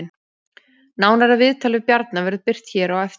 Nánara viðtal við Bjarna verður birt hér á eftir